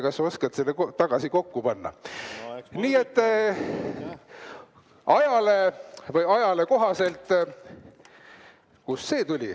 Kas sa oskad selle tagasi kokku panna?